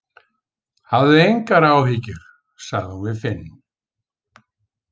Hafðu engar áhyggjur, sagði hún við Finn.